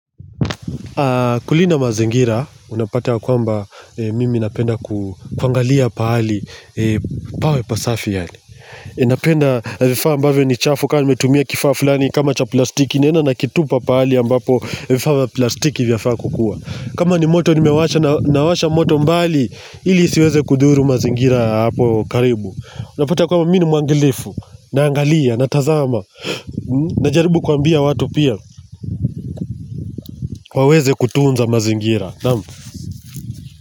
Kulinda mazingira unapata kwamba mimi napenda kuangalia pahali pasafi yaani napenda vifaa ambavyo ni chafu kama nimetumia kifaa fulani kama cha plastiki. Naenda nakitupa pahali ambapo vifaa vya plastiki vya faa kukua. Kama ni moto nimewasha nawasha moto mbali ili siweze kudhuru mazingira ya hapo karibu. Unapata kwamba mimi ni mwangilifu naangalia na tazama najaribu kuambia watu pia waweze kutunza mazingira naam.